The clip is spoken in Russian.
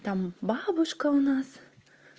там бабушка у нас